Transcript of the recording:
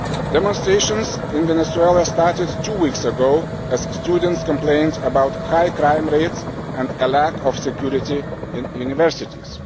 Demonstrations in Venezuela started two weeks ago as students complained about high crime rates and a lack of security in universities.